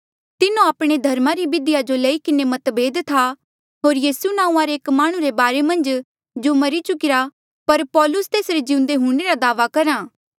तिन्हो आपणे धर्मा री बिधिया जो लेई किन्हें मतभेद था होर यीसू नांऊँआं रे एक माह्णुं रे बारे मन्झ जो मरी चुकिरा पर पौलुसा तेसरे जिउंदे हूंणे रा दावा करहा